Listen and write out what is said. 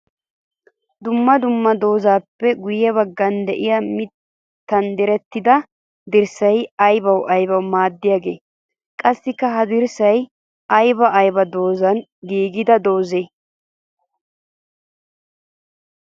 Dumma dumma doozappe guye bagan de'iya mittan direttidda dirssay aybbawu aybbawu maaddiyagee? Qassikka ha dirssay aybba aybba doozappe giigiya dooze?